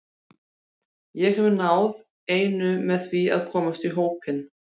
Ég hef náð einu með því að komast í hópinn.